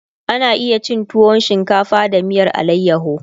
ana iya cin tuwo shinkafa da miyar alayaho